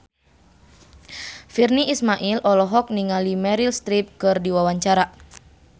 Virnie Ismail olohok ningali Meryl Streep keur diwawancara